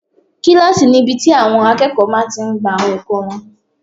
Kílásì ni ibi tí àwọn akẹ́kọ̀ọ́ máa tí n gba àwọn ẹ̀kọ́ wọn